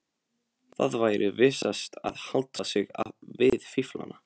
Það væri vissast að halda sig við fíflana.